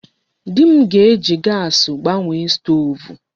Di m ga-eji gaasị gbanwee stoovu.